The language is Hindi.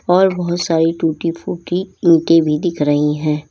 और बहुत सारी टूटी फूटी ईंटे भी दिख रही है।